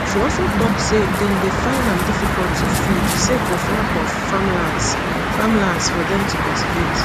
she also tok say dem dey find am difficult to feed sake of lack of farmlands farmlands for dem to cultivate